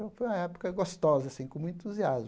Foi uma época gostosa assim, com muito entusiasmo.